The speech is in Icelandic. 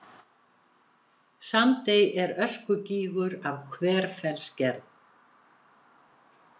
Sandey er öskugígur af hverfellsgerð.